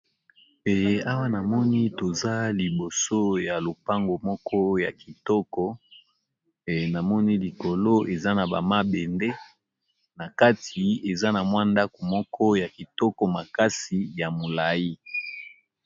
Awa namoni toza liboso ya lopangu moko ya kitoko, namoni likolo eza na ba mabende na kati eza na ndaku moko ya kitoko makasi ya molai.